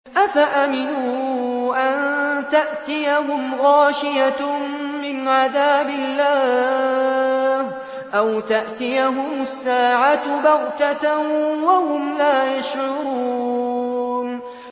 أَفَأَمِنُوا أَن تَأْتِيَهُمْ غَاشِيَةٌ مِّنْ عَذَابِ اللَّهِ أَوْ تَأْتِيَهُمُ السَّاعَةُ بَغْتَةً وَهُمْ لَا يَشْعُرُونَ